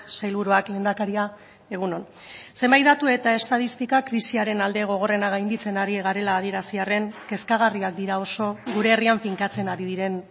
sailburuak lehendakaria egun on zenbait datu eta estatistika krisiaren alde gogorrena gainditzen ari garela adierazi arren kezkagarriak dira oso gure herrian finkatzen ari diren